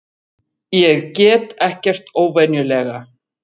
Ég get ekkert óvenjulega.